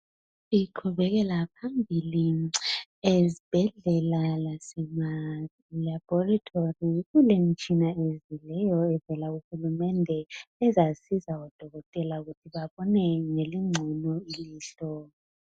Iqhubekela phambili ezibhedlela lasema laboratory kulemitshina evuliweyo evela kuhulumende ezasiza o Dokotela ukuthi babone ngelingcono ilihlo.